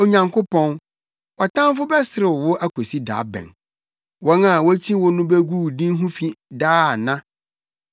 Onyankopɔn, wʼatamfo bɛserew wo akosi da bɛn? Wɔn a wokyi wo no begu wo din ho fi daa ana?